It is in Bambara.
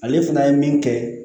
Ale fana ye min kɛ